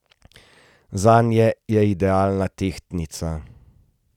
Zanje je idealna tehtnica.